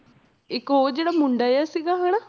ਇੱਕ ਉਹ ਜਿਹੜਾ ਮੁੰਡਾ ਜਿਹਾ ਸੀਗਾ ਹਨਾ